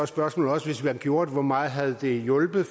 spørgsmålet også hvis man gjorde det hvor meget det havde hjulpet